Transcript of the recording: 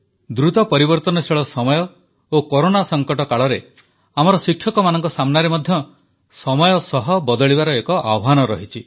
ଦ୍ରୁତ ପରିବର୍ତ୍ତନଶୀଳ ସମୟ ଓ କରୋନା ସଂକଟ କାଳରେ ଆମର ଶିକ୍ଷକମାନଙ୍କ ସାମ୍ନାରେ ମଧ୍ୟ ସମୟ ସହ ବଦଳିବାର ଏକ ଆହ୍ୱାନ ରହିଛି